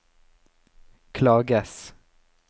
klages